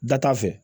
Da t'a fɛ